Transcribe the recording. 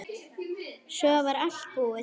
Svo var allt búið.